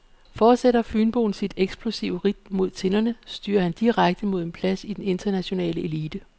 Fortsætter fynboen sit eksplosive ridt mod tinderne, styrer han direkte mod en plads i den internationale elite.